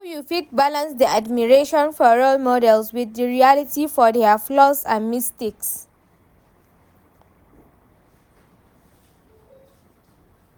How you fit balance di admiration for role model with di reality of their flaws and mistakes?